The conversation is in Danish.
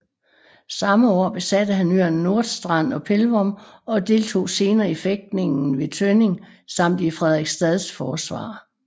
Samme år besatte han øerne Nordstrand og Pelvorm og deltog senere i fægtningen ved Tønning samt i Frederiksstads forsvar